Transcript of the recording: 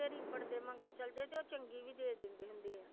ਰੀਪੜ ਦੇ ਮਗਰ ਚਲੇ ਜਾਏ ਤੇ ਉਹ ਚੰਗੀ ਵੀ ਦੇ ਦਿੰਦੇ ਹੁੰਦੇ ਹੈ।